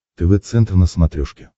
тв центр на смотрешке